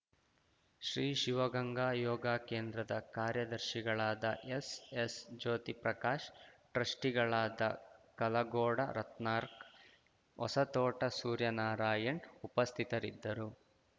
ಶ್ರೀ ಶಿವಗಂಗಾ ಯೋಗಕೇಂದ್ರದ ಕಾರ್ಯದರ್ಶಿಗಳಾದ ಎಸ್‌ಎಸ್‌ ಜ್ಯೋತಿಪ್ರಕಾಶ್‌ ಟ್ರಸ್ಟಿಗಳಾದ ಕಲಗೋಡ ರತ್ನಾರ್ಕ್ ಹೊಸತೋಟ ಸೂರ್ಯನಾರಾಯಣ್‌ ಉಪಸ್ಥಿತರಿದ್ದರು